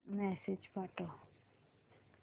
message पाठव